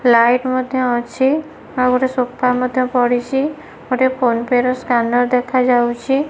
Light ମଧ୍ୟ ଅଛି ଆଉ ଗୋଟେ ସୋଫା ମଧ୍ୟ ପଡିଚି ଗୋଟିଏ ଫୋନ୍ ପେ ର ସ୍କାନର ଦେଖାଯାଉଚି ।